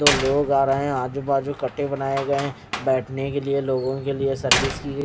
तो लोग आ रहे हैं आजू बाजू कट्टे बनाए गए हैं बैठने के लिए लोगों के लिए सर्विस की ग--